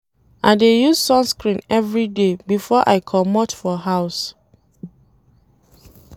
I dey use sunscreen everyday before I comot for house.